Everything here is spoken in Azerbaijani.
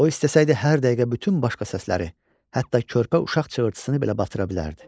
O istəsəydi hər dəqiqə bütün başqa səsləri, hətta körpə uşaq çığırtısını belə batıra bilərdi.